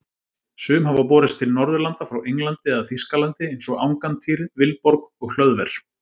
Sum hafa borist til Norðurlanda frá Englandi eða Þýskalandi eins og Angantýr, Vilborg og Hlöðver.